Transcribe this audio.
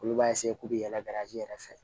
Olu b'a k'u bɛ yaalaji yɛrɛ fɛ